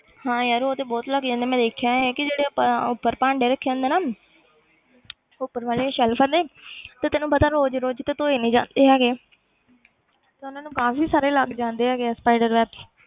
ਹਾਂ ਯਾਰ ਉਹ ਤੇ ਬਹੁਤ ਲੱਗ ਜਾਂਦਾ ਮੈਂ ਦੇਖਿਆ ਹੈ ਕਿ ਜਿਹੜੇ ਉੱਪਰ ਉੱਪਰ ਭਾਂਡੇ ਰੱਖੇ ਹੁੰਦੇ ਨਾ ਉੱਪਰ ਵਾਲੇ ਸੈਲਫ਼ਾਂ ਤੇ ਤੇ ਤੈਨੂੰ ਪਤਾ ਰੋਜ਼ ਦੀ ਰੋਜ਼ ਤੇ ਧੋਏ ਨੀ ਜਾਂਦੇ ਹੈਗੇ ਤੇ ਉਹਨਾਂ ਨੂੰ ਕਾਫ਼ੀ ਸਾਰੇ ਲੱਗ ਜਾਂਦੇ ਹੈਗੇ ਆ spider web